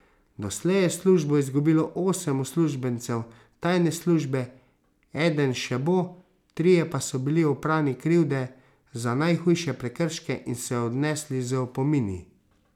Doslej je službo izgubilo osem uslužbencev tajne službe, eden še bo, trije pa so bili oprani krivde za najhujše prekrške in so jo odnesli z opomini.